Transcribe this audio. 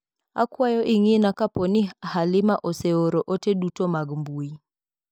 Akwayo ing'ina kaponi Halima ose oro ote dutomag mbui